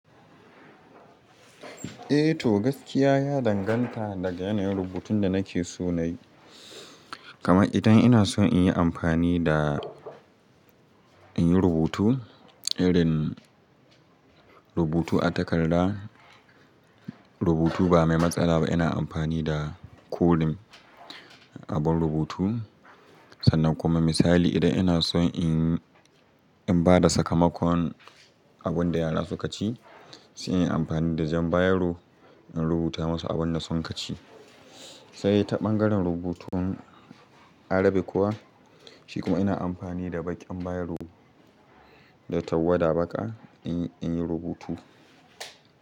Eh to gaskiya ya danganta daga yanayin rubutun da nake so nayi. Kaman idan ina son in yi amfani da in yi rubutu irin rubutu a takarda rubutu ba mai matsala ba ina amfani da koren abun rubutu sannan kuma idan ina son in ba da sakamakon abin da yara suka ci sai in yi amfani da jan bairo in rubuta masu abin da suka ci sai ta ɓangaren rubutun Arabic kuwa shi kuma ina amfani da baƙin bayaro da tawada baƙa in, in yi rubutu.